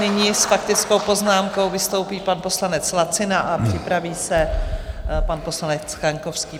Nyní s faktickou poznámkou vystoupí pan poslanec Lacina a připraví se pan poslanec Kaňkovský.